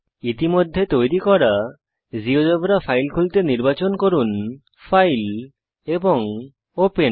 ইতিমধ্যে তৈরী করা জীয়োজেব্রা ফাইল খুলতে নির্বাচন করুন ফাইল এবং ওপেন